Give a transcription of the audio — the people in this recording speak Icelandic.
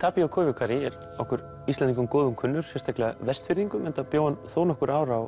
Koivukari er okkur Íslendingum að góðu kunnur sérstaklega Vestfirðingum enda bjó hann þó nokkur ár á